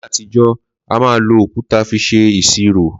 Làyé àtíjò àmà lò ókùtà fi sẹ ìsìrò